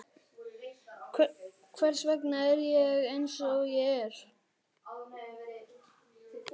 Hvers vegna er ég eins og ég er?